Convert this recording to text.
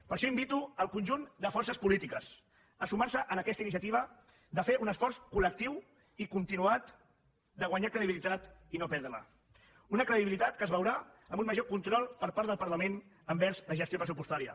per això invito el conjunt de forces polítiques a sumar se a aquesta iniciativa de fer un esforç col·lectiu i continuat de guanyar credibilitat i no perdre la una credibilitat que es veurà en un major control per part del parlament envers la gestió pressupostària